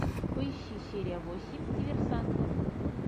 поищи серия восемь диверсанты